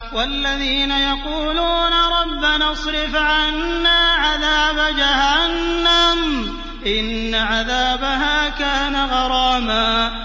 وَالَّذِينَ يَقُولُونَ رَبَّنَا اصْرِفْ عَنَّا عَذَابَ جَهَنَّمَ ۖ إِنَّ عَذَابَهَا كَانَ غَرَامًا